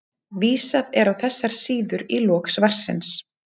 Vísað er á þessar síður í lok svarsins.